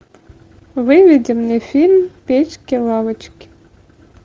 выведи мне фильм печки лавочки